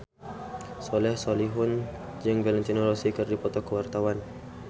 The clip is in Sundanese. Soleh Solihun jeung Valentino Rossi keur dipoto ku wartawan